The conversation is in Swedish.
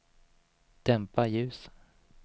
dämpa ljus